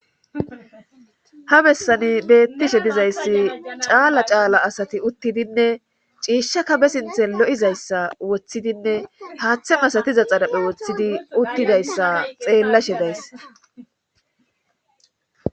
ha bessani beettishe dizayssi caala caala asati uuttidinne ciishshakka be sinthe lo'izayssa woththidinne haaththe masatiza xaraphe woththidi uttidayssa xeellashe days